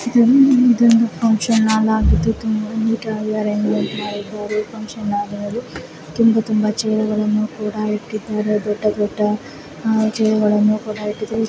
ಈ ಚಿತ್ರದಲ್ಲಿ ಇದೊಂದು ಫಂಕ್ಷನ್ ಹಾಲ್ ಆಗಿದ್ದು ತುಂಬಾ ಚೆನ್ನಾಗಿ ಅರೇಂಜ್ಮೆಂಟ್ ಮಾಡಿದ್ದಾರೆ ಫಂಕ್ಷನ್ ಹಾಲಲ್ಲಿ ತುಂಬಾ ತುಂಬಾ ಚೇರುಗಳನ್ನು ಕೂಡ ಇಟ್ಟಿದ್ದಾರೆ ದೊಡ್ಡ ದೊಡ್ಡ ಚೇರುಗಳನ್ನು ಕೂಡ ಇಟ್ಟಿದ್ದಾರೆ